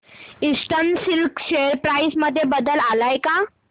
eastern Silk share price मध्ये बदल आलाय का